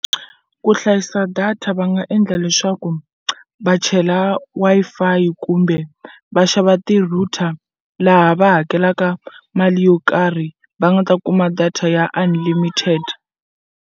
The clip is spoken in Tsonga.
Ku hlayisa data va nga endla leswaku va chela Wi-Fi kumbe va xava ti-router laha va hakelaka mali yo karhi va nga ta kuma data ya unlimited.